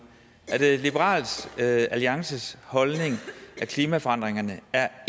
er det liberal alliances holdning at klimaforandringerne er